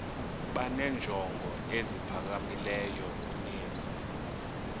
benenjongo eziphakamileyo kunezi